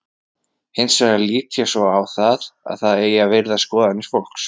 Hins vegar lít ég svo á að það eigi að virða skoðanir fólks.